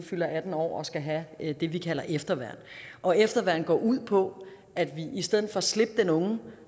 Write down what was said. fylder atten år og skal have det vi kalder efterværn og efterværnet går ud på at vi i stedet for at slippe den unge